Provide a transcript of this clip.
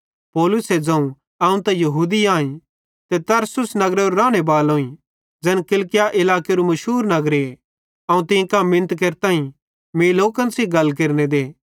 पौलुसे ज़ोवं अवं त यहूदी आईं ते तरसुस नगरेरो राने बालोईं ज़ैन किलिकिया इलाकेरू मुशूर नगर अवं तीं कां मिनत केरताईं मीं लोकन सेइं गल केरने दे